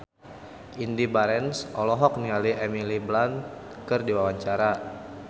Indy Barens olohok ningali Emily Blunt keur diwawancara